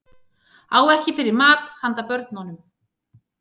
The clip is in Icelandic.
Á ekki fyrir mat handa börnunum